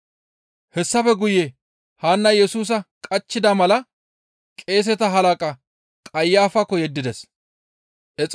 Hessafe guye Haannay Yesusa qachchida mala qeeseta halaqa Qayafakko yeddides.